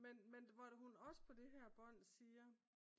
Men men hvor hun også på det her bånd siger